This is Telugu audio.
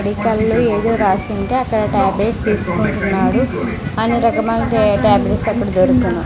మెడికల్ లో ఏదో రాసి ఉంటే అక్కడ టాబ్లెట్స్ తీసుకుంటున్నాడు అన్ని రకములైన టాబ్లెట్స్ అక్కడ దొరుకును.